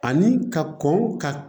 Ani ka kɔn ka